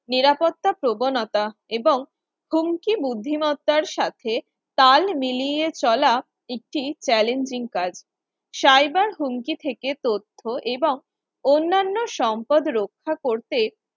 নিরাপত্তা প্রবণতা এবং কুণ্ঠি বুদ্ধিমত্তার সাথে তাল মিলিয়ে চলা একটি challenging কাজ cyber হুমকি থেকে তথ্য এবং অন্যান্য সম্পদ রক্ষা করতে